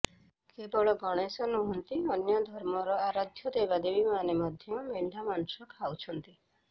କେବଳ ଗଣେଶ ନୁହଁନ୍ତି ଅନ୍ୟ ଧର୍ମର ଆରାଧ୍ୟ ଦେବାଦେବୀମାନେ ମଧ୍ୟ ମେଣ୍ଢା ମାଂସ ଖାଉଛନ୍ତି